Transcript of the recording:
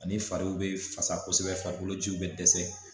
Ani fariw bɛ fasa kosɛbɛ farikolo jiw bɛ dɛsɛ